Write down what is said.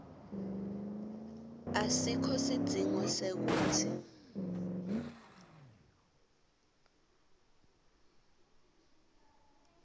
asikho sidzingo sekutsi